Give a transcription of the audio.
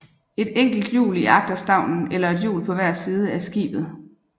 Et enkelt hjul i agterstavnen eller et hjul på hver side af skibet